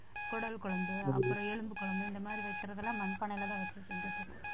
குடல் குழம்பு அப்புறம் எலும்பு குழம்பு இந்த மாதிரி வைக்கிறது எல்லாம் மண்பானையிலதான் வச்சிட்டு இருந்துட்டு இருக்கோம்